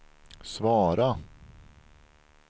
svara